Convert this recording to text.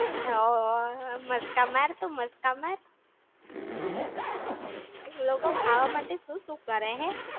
હો ઓ, મસ્કા માર તું મસ્કા માર! લોકો ખાવા માટે શું શું કરે હે?